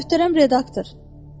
Möhtərəm redaktor!